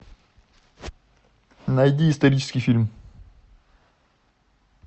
найди исторический фильм